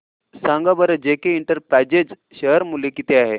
सांगा बरं JK enterprises share मूल्य किती आहे